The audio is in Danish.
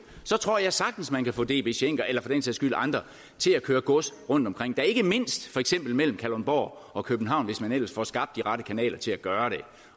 så tror jeg sagtens at man kan få db schenker eller for den sags skyld andre til at køre gods rundtomkring da ikke mindst for eksempel mellem kalundborg og københavn hvis man ellers får skabt de rette kanaler til at gøre